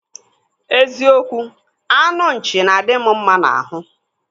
Eziokwu, anụ nchi na-adị m mma n'ahụ.